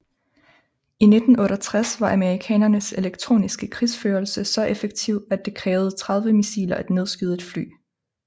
I 1968 var amerikanernes elektroniske krigsførelse så effektiv at det krævede 30 missiler at nedskyde et fly